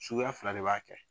Suguya fila de b'a kɛ